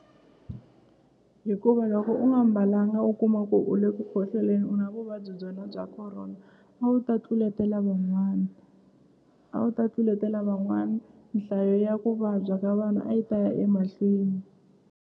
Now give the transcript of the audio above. Hikuva loko u nga mbalanga u kuma ku u le ku khohloleni u na vuvabyi byona bya Corona a wu ta tluletela van'wana a wu ta tluletela van'wana nhlayo ya ku vabya ka vanhu a yi ta ya emahlweni.